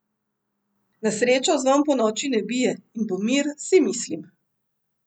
Na srečo zvon ponoči ne bije, in bo mir, si mislim.